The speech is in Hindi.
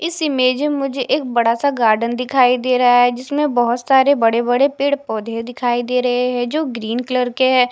इस इमेज में मुझे एक बड़ा सा गार्डन दिखाई दे रहा है जिसमें बहोत सारे बड़े बड़े पेड़ पौधे दिखाई दे रहे हैं जो ग्रीन कलर के है।